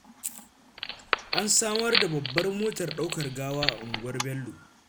An samar da babbar motar ɗaukar gawa a unguwar Bello